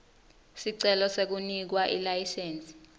sicelo sekunikwa ilayisensi